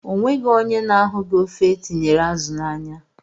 Enweghị ónyé na-ahughi ofe etinyere azụ na ányá.